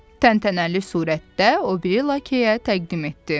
Təntənəli surətdə o biri lakeyə təqdim etdi.